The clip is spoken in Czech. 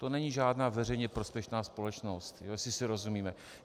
To není žádná veřejně prospěšná společnost, jestli si rozumíme.